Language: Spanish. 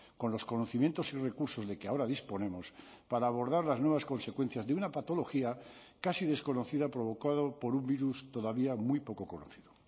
con los conocimientos y recursos de que ahora disponemos para abordar las nuevas consecuencias de una patología casi desconocida provocado por un virus todavía muy poco conocido